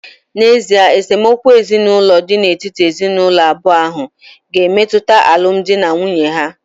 N’ezie, esemokwu ezinụlọ dị n’etiti ezinụlọ abụọ ahụ ga-emetụta alụmdi na nwunye ha